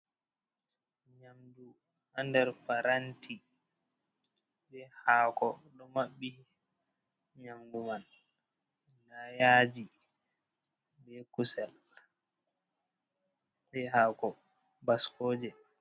Nyamdu haa nder paranti, be haako ɗo maɓɓi nyamdu man. Nda yaaji, be kusel, be haako baskooje.